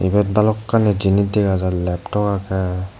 eyot balokkani jinish dega jar leptop agey.